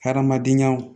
Hadamadenyaw